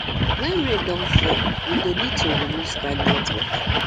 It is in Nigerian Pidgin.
when rain don fall we go need to remove stagnant water